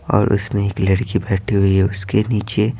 और उसमें एक लड़की बैठी हुई है उसके नीचे--